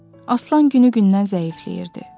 Aslan günü-gündən zəifləyirdi.